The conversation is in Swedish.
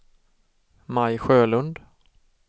Maj Sjölund